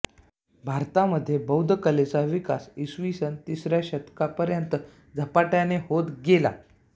भारतामध्ये बौद्ध कलेचा विकास इ स तिसऱ्या शतकापर्यंत झपाट्याने होत गेला